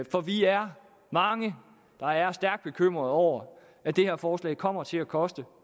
for vi er mange der er stærkt bekymrede over at det her forslag kommer til at koste